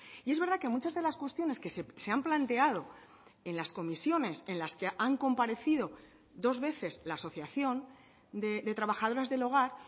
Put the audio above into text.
y es verdad que muchas de las cuestiones que se han planteado en las comisiones en las que han comparecido dos veces la asociación de trabajadoras del hogar